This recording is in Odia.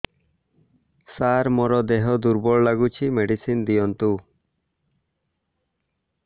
ସାର ମୋର ଦେହ ଦୁର୍ବଳ ଲାଗୁଚି ମେଡିସିନ ଦିଅନ୍ତୁ